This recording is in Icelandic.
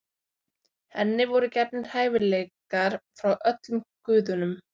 henni voru gefnir hæfileikar frá öllum guðunum